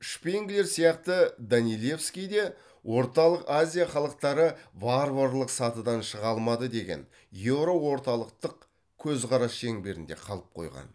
шпенглер сияқты данилевский де орталық азия халықтары варварлық сатыдан шыға алмады деген еуроорталықтық көзқарас шеңберінде қалып қойған